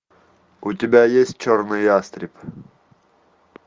у тебя есть черный ястреб